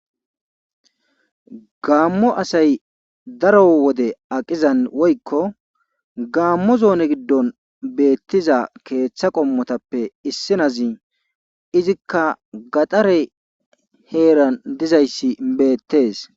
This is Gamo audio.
Gaamo asay daro wode aqiza gaamo zoone gidon beetiza keetha qommotappe issi naazi izikka gaxxare heeran dizayssi beetees.